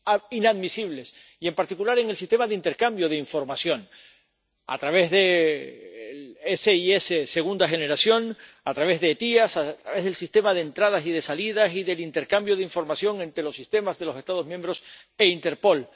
inadmisibles, y, en particular, en el sistema de intercambio de información a través del SIS de segunda generación, a través de SEIAV, a través del Sistema de Entradas y Salidas y del intercambio de información entre los sistemas de los Estados miembros e Interpol.